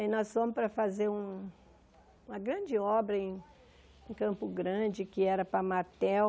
E nós fomos para fazer uma grande obra em Campo Grande, que era para Matel.